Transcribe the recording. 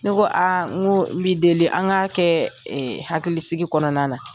Ne ko a n ko n bi deli an k'a kɛ hakilisigi kɔnɔna na.